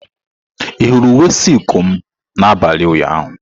Ị hụrụ uwe silku m n'abalị ụnyaahụ?